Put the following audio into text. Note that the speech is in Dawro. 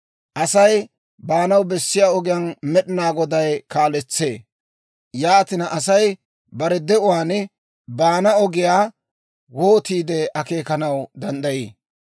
Asay baanaw bessiyaa ogiyaa Med'inaa Goday kaaletsee; yaatina, Asay bare de'uwaan baana ogiyaa wootiide akeekanaw danddayii?